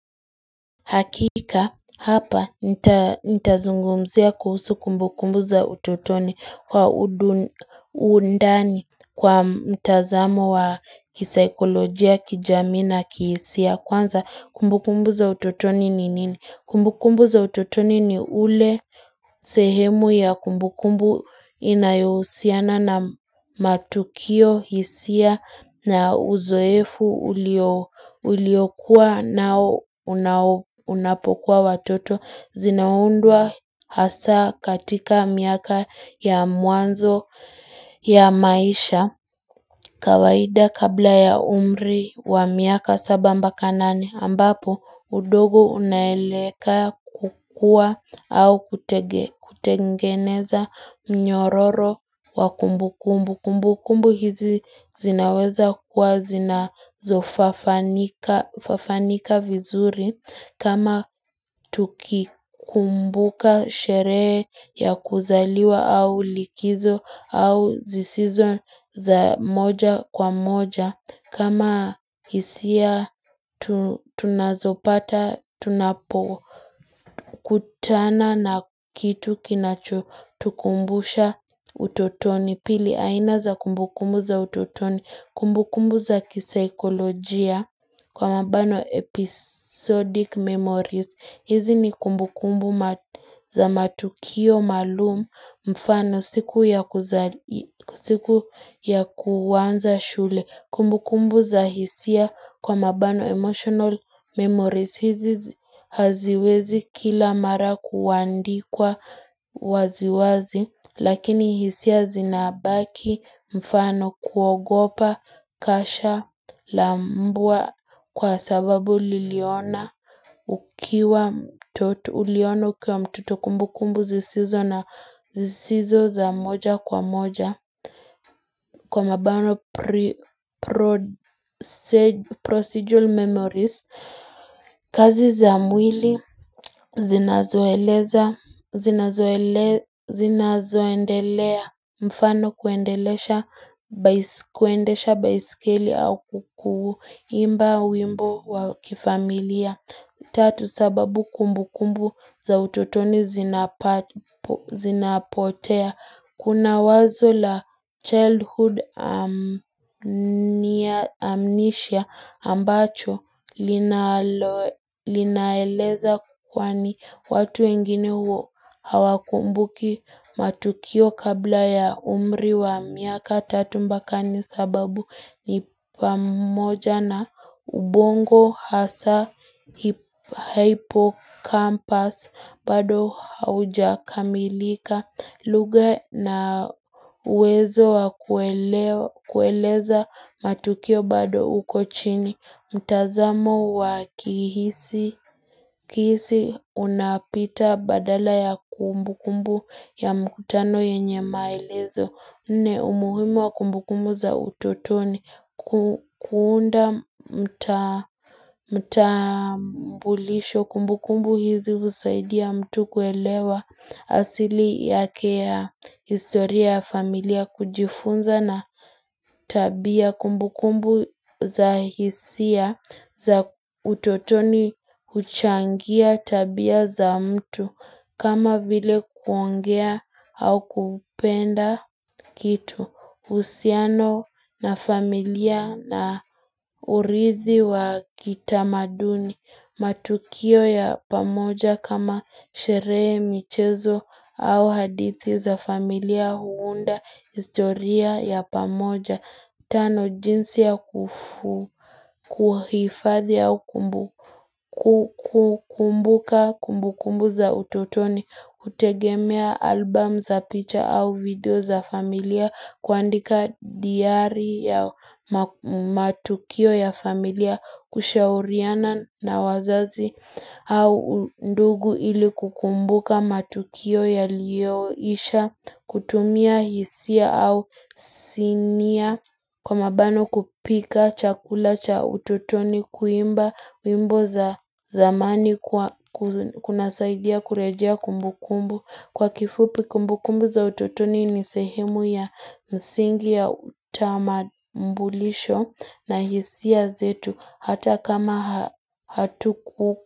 Hakika hapa nitazungumzia kuhusu kumbukumbu za utotoni kwa uundani kwa mtazamo wa kisaikolojia, kijamii na kihisia kwanza kumbukumbu za utotoni ni nini? Kumbukumbu za utotoni ni ule sehemu ya kumbukumbu inayohusiana na matukio hisia na uzoefu uliokua nao unapokuwa watoto zinaundwa hasa katika miaka ya mwanzo ya maisha. Kawaida kabla ya umri wa miaka saba mbaka nane ambapo udogo unaeleka kukua au kutengeneza mnyororo wa kumbu kumbu. Kumbu kumbu hizi zinaweza kuwa zina zofafanika vizuri kama tukikumbuka sherehe ya kuzaliwa au likizo au zisizo za moja kwa moja. Kama hisia tunazopata tunapo kutana na kitu kinacho tukumbusha utotoni pili aina za kumbukumbu za utotoni kumbukumbu za kisaikolojia kwa mabano episodic memories. Hizi ni kumbu kumbu za matukio maalumu mfano siku ya kuanza shule kumbu kumbu za hisia kwa mabano emotional memories hizi haziwezi kila mara kuandikwa waziwazi Lakini hisia zinabaki mfano kuogopa, kasha, lambua kwa sababu liliona ukiwa mtoto uliono kwa mtoto kumbu kumbu zisizo na zisizo za moja kwa moja. Kwa mabano pre-procedural memories kazi za mwili zina zoeleza zina zoendelea mfano kuendelesha kuendesha baisikeli au kuimba wimbo wa kifamilia Tatu sababu kumbu kumbu za ututoni zinapotea Kuna wazo la childhood amnisha ambacho linaeleza kwani watu wengini huo hawakumbuki matukio kabla ya umri wa miaka tatu mbaka nne sababu ni pamoja na ubongo hasa hypokampas bado haujakamilika lugha na wezo wa kueleza matukio bado uko chini, mtazamo wa kihisi unapita badala ya kumbu kumbu ya mkutano yenye maelezo. Nne umuhimu wa kumbu kumbu za utotoni kuunda mtambulisho kumbu kumbu hizi usaidia mtu kuelewa asili yake ya historia familia kujifunza na tabia kumbu kumbu za hisia za utotoni huchangia tabia za mtu kama vile kuongea au kupenda kitu. Uhusiano na familia na urithi wa kitamaduni, matukio ya pamoja kama sherehe michezo au hadithi za familia huunda historia ya pamoja. Tano jinsi ya kufu kuhifadhi au kumbuka kumbu kumbu za utotoni kutegemea album za picha au video za familia kuandika diari ya matukio ya familia kushauriana na wazazi au ndugu ili kukumbuka matukio yaliyoisha kutumia hisia au sinia Kwa mabano kupika chakula cha ututoni kuimba wimbo za zamani kuna saidia kurejea kumbu kumbu. Kwa kifupi kumbu kumbu za ututoni ni sehemu ya msingi ya utama mbulisho na hisia zetu hata kama hatu kuku.